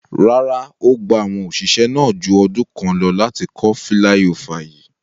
Rara, O gba awọn oṣiṣẹ naa ju ọdun kan lọ lati kọ filaiofa yii